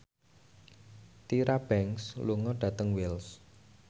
Tyra Banks lunga dhateng Wells